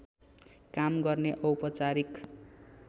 काम गर्ने औपचारिक